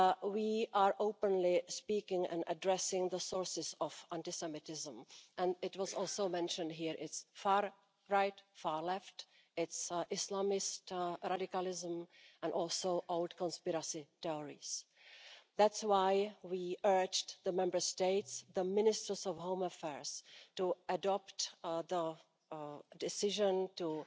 We are openly speaking and addressing the sources of anti Semitism and it was also mentioned here it is far right, far left, it is Islamist radicalism and also old conspiracy theories. That's why we urged the Member States, the ministers of home affairs, to adopt the decision